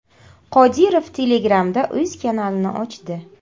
Qodirov Telegram’da o‘z kanalini ochdi.